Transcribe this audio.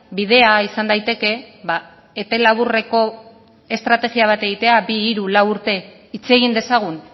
bidea izan daiteke epe laburreko estrategia bat egitea bi hiru lau urte hitz egin dezagun